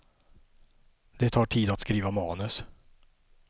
Det tar tid att skriva manus.